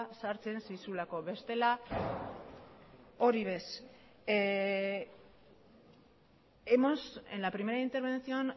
sartzen zizulako bestela hori ere ez en la primera intervención